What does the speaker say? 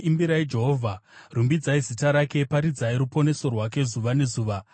Imbirai Jehovha, rumbidzai zita rake; paridzai ruponeso rwake zuva nezuva.